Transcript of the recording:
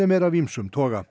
eru af ýmsum toga